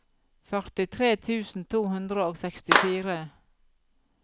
førtitre tusen to hundre og sekstifire